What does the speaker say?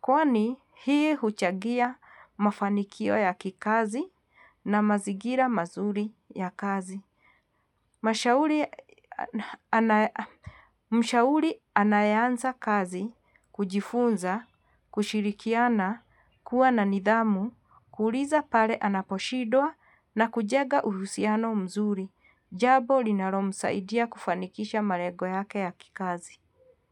kwani hii huchagia mafanikio ya kikazi na mazigila mazuri ya kazi. Mshahuli anayeanza kazi, kujifunza, kushirikiana, kuwa na nidhamu, kuulisa pale anaposhidwa na kujega uhusiano mzuri. Jabo linaro msaidia kufanikisha malego yake ya kikazi.